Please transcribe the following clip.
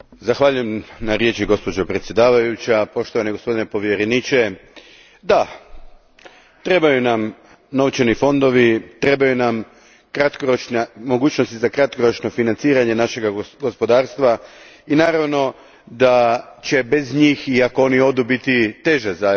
Gospođo predsjedavajuća, poštovani gospodine povjereniče, da trebaju nam novčani fondovi, trebaju nam mogućnosti za kratkoročno financiranje našega gospodarstva i naravno da će bez njih, i ako oni odu, biti teže za europsko gospodarstvo.